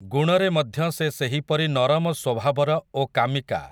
ଗୁଣରେ ମଧ୍ୟ ସେ ସେହିପରି ନରମ ସ୍ୱଭାବର, ଓ କାମିକା ।